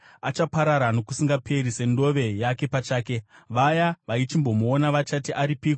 achaparara nokusingaperi, setsvina yake pachake; vaya vaichimbomuona vachati, ‘Aripiko?’